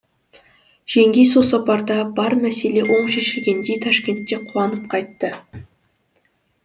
жеңгей сол сапарда бар мәселе оң шешілгендей ташкентке қуанып қайтты